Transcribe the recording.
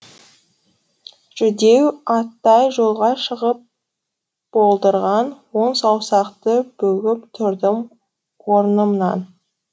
жүдеу аттай жолға шығып болдырған он саусақты бүгіп тұрдым орнымнан